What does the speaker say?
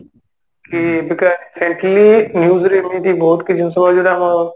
କି ଏବେକା recently news ରେ ବହୁତ କିଛି ଜିନିଷ ଦଉଛି ଯୋଉଟା ଆମର